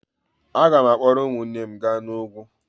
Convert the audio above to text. Aga m akpọrọ ụmụnne m gaa n'ugwu.